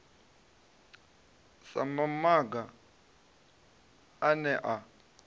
sa mamaga a ne a